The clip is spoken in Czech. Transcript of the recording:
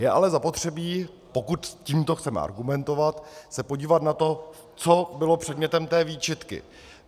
Je ale zapotřebí, pokud tímto chceme argumentovat, se podívat na to, co bylo předmětem té výčitky.